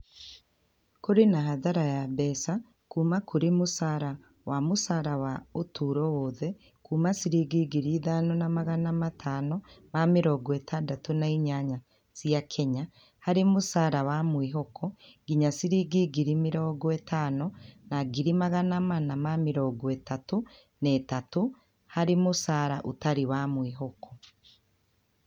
Kũrĩ na hathara ya mbeca kuuma kũrĩ mũcara wa mũcara wa ũtũũro wothe kuuma ciringi ngiri ithano na magana matano ma mĩrongo itandatũ na inyanya cia Kenya harĩ mũcara wa mwĩhoko nginya ciringi ngiri mĩrongo ĩtano na igĩrĩ magana mana ma mĩrongo ĩtatũ na ithatũ harĩ mũcara ũtarĩ wa mwĩhoko.